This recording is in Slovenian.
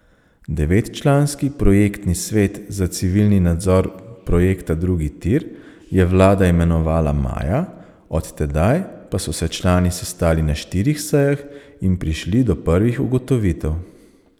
Devetčlanski projektni svet za civilni nadzor projekta drugi tir je vlada imenovala maja, od tedaj pa so se člani sestali na štirih sejah in prišli do prvih ugotovitev.